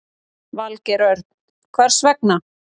Valgeir Örn: Hvers vegna?